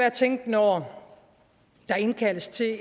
at tænke når der indkaldes til